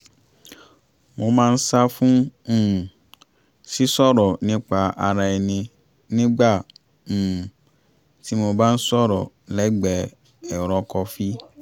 mo máa ń sá fún um sí sọ̀rọ̀ nípa ara ẹni nígbà um tí mo bá ń sọ̀rọ̀ lẹ́gbẹ̀ẹ́ ẹ̀rọ kọfí